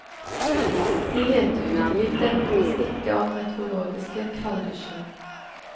Det hete uteliv dempes ikke av meteorologiske kalddusjer.